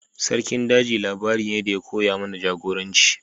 Sarkin daji labari ne da ya koya mana jagoranci.